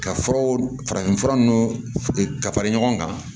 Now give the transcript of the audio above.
Ka furaw farafin fura nunnu ka fara ɲɔgɔn kan